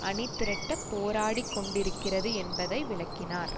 அணிதிரட்டப் போராடிக் கொண்டிருக்கிறது என்பதை விளக்கினார்